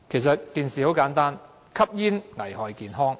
事情很簡單，就是吸煙危害健康。